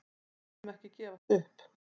Við munum ekki gefast upp.